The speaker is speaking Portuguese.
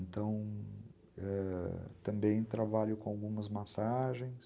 Então, ãh, também trabalho com algumas massagens.